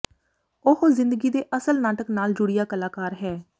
ਉਹ ਜ਼ਿੰਦਗੀ ਦੇ ਅਸਲ ਨਾਟਕ ਨਾਲ ਜੁੜਿਆ ਕਲਾਕਾਰ ਹੈ